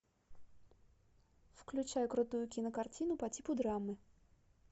включай крутую кинокартину по типу драмы